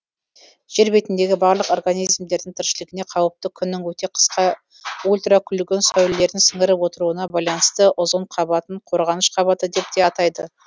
жер бетіндегі барлық организмдердің тіршілігіне қауіпті күннің өте қысқа ультракүлгін сәулелерін сіңіріп отыруына байланысты озон қабатын қорғаныш қабаты деп те атайды